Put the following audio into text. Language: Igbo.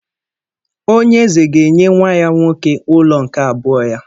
Onye eze ga-enye nwa ya nwoke ụlọ nke abụọ ya.